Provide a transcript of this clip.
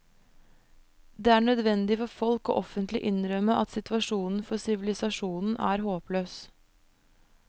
Det er nødvendig for folk å offentlig innrømme at situasjonen for sivilisasjonen er håpløs.